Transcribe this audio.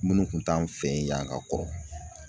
Minnu kun t'an fɛ yen yan ka kɔrɔ